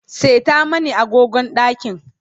seta mani agogon ɗakin